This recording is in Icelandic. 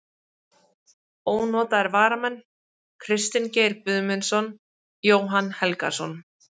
Ónotaðir varamenn: Kristinn Geir Guðmundsson, Jóhann Helgason.